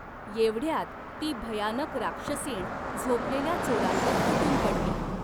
येवढ्यात ती भयानक राक्षसीण झोपलेल्या चोरांवर तुटून पडली.